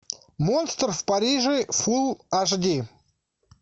монстр в париже фулл аш ди